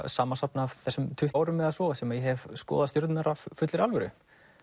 samansafn af þessum tuttugu árum eða svo sem ég hef skoðað stjörnurnar af fullri alvöru